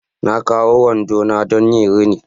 Na kawo wando na don yin rini